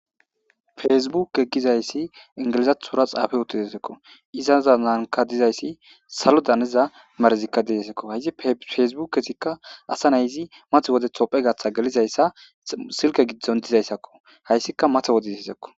fesbuke gizayssi ingilizathura xaafe uttidesekko izaza naanka dizayssi salo daniza marezikka deesekko hayzi fesbukezikka asa nayzi math wodetho phegaththa gelizayssa silke giddon dizayssakko hayssika matha wode hizakko